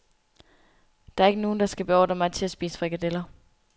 Der er ikke nogen, der skal beordre mig til at spise frikadeller.